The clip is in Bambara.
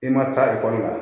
I ma taa la